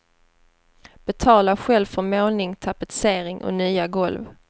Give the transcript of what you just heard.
Betala själv för målning, tapetsering och nya golv.